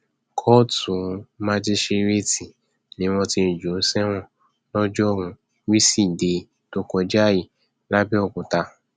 kóòtù májíṣẹrẹẹtì ni wọn ti jù ú sẹwọn lọjọruú wíṣídẹẹ tó kọjá yìí lápbẹọkúta